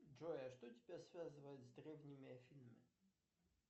джой а что тебя связывает с древними афинами